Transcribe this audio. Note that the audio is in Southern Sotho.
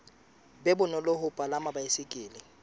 be bonolo ho palama baesekele